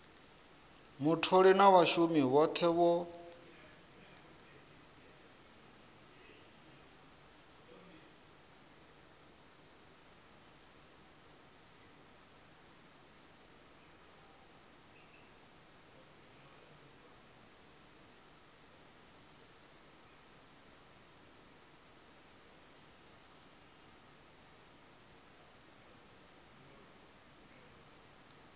mutholi na vhashumi vhothe vho